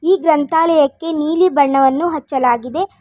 ಈ ಗ್ರಂಥಾಲಯಕ್ಕೆ ನೀಲಿ ಬಣ್ಣವನ್ನು ಹಚ್ಚಲಾಗಿದೆ.